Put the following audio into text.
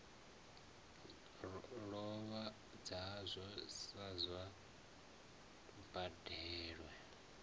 lovha ngazwo a sa badelwe